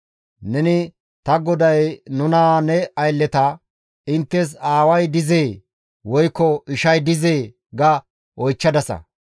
Neni ta goday nuna ne aylleta, ‹Inttes aaway dizee woykko ishay dizee?› ga oychchadasa.